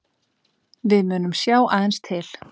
Við munum sjá aðeins til